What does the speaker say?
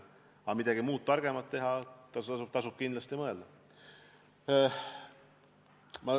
Aga kuidas midagi muud, targemat teha, seda tasub kindlasti mõelda.